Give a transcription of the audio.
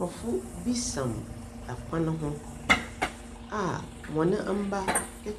Nkorɔfo bi sam kwan ho a hɔn mba